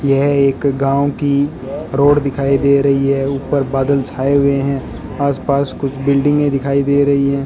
यह एक गांव की रोड दिखाई दे रही है ऊपर बादल छाए हुए हैं आस पास कुछ बिल्डिंगे दिखाई दे रही है।